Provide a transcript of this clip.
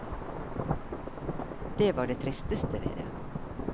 Det var det tristeste ved det.